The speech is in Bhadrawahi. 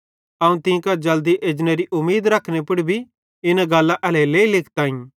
अवं तीं कां जल्दी एजनेरी उमीद रखने पुड़ भी इना गल्लां एल्हेरेलेइ लिखताईं